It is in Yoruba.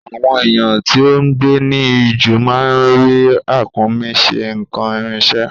Àwọn èèyàn tí o ngbé ní ijù má ń fí Ràkúnmí ṣe n'kan ìrìnṣẹ̀